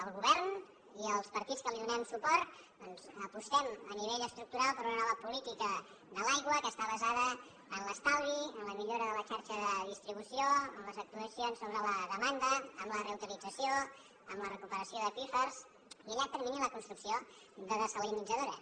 el govern i els partits que li donem suport doncs apostem a nivell estructural per una nova política de l’aigua que està basada en l’estalvi en la millora de la xarxa de distribució en les actuacions sobre la demanda en la reutilització en la recuperació d’aqüífers i a llarg termini en la construcció de dessalinitzadores